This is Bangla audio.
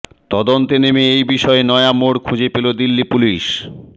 তদন্তে নেমে এই বিষয়ে নয়া মোড় খুঁজে পেল দিল্লি পুলিশ